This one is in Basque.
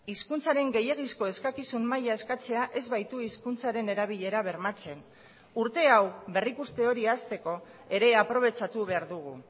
hizkuntzaren gehiegizko eskakizun maila eskatzea ez baitu hizkuntzaren erabilera bermatzen urte hau berrikuste hori hasteko ere aprobetxatu behar dugu